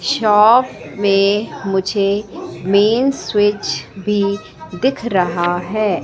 Shop में मुझे main switch भी दिख रहा है।